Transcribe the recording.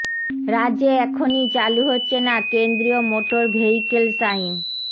রাজ্যে এখনই চালু হচ্ছে না কেন্দ্রীয় মোটর ভেহিকেলস আইন